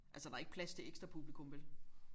Altså der er ikke plads til ekstra publikum vel